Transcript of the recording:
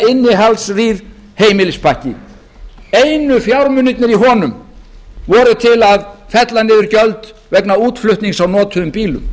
innihaldsrýr heimilispakki einu fjármunirnir í honum voru til að fella niður gjöld vegna útflutnings á notuðum bílum